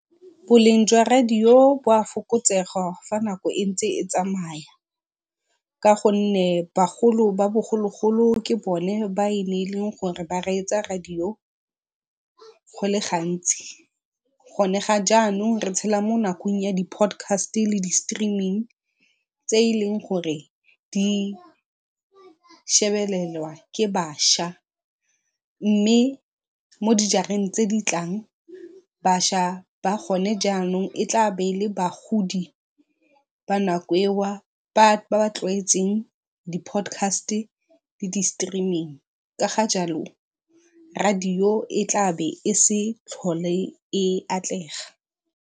Boleng jwa radio bo a fokotsega fa nako e ntse e tsamaya ka gonne bagolo ba bogologolo ke bone ba e neng e le gore ba reetsa radio go le gantsi. Gone ga jaanong re tshela mo nakong ya di-podcast le di-streaming tse e leng gore di shebelelwa ke bašwa mme mo dijareng tse di tlang bašwa ba gone jaanong e tla be e le bagodi ba nako e ba ba tlwaetseng di-podcast le di-streaming ka ga jalo radio e tla bo e se tlhole e atlega.